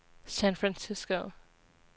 San Francisco